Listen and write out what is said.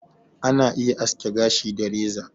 Ana iya aske gashi da reza